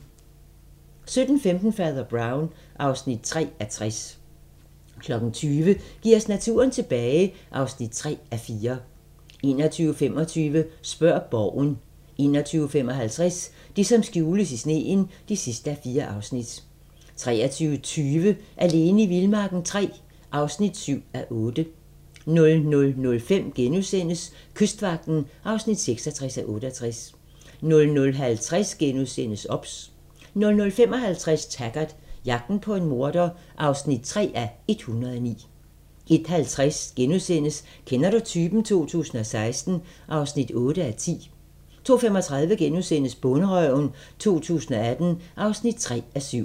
17:15: Fader Brown (3:60) 20:00: Giv os naturen tilbage (3:4) 21:25: Spørg Borgen 21:55: Det, som skjules i sneen (4:4) 23:20: Alene i vildmarken III (7:8) 00:05: Kystvagten (66:68)* 00:50: OBS * 00:55: Taggart: Jagten på en morder (3:109) 01:50: Kender du typen? 2016 (8:10)* 02:35: Bonderøven 2018 (3:7)*